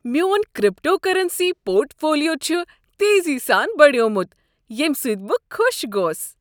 میون cryptocurrency portfolio چھ تیزی سان بڑیومت ییٚمہ سۭتۍ بہٕ خوش گوس۔